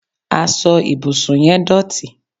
asọ ibusun yẹn dótì